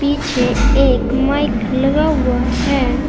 पीछे एक माइक लगा हुआ है।